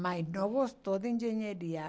Mas não gostou de engenharia.